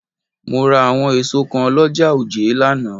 Mo rà àwọn èso kan l'ọ́ja òjé lánàá